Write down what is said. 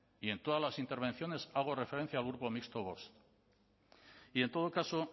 y en todas las intervenciones hago referencia al grupo mixto vox y en todo caso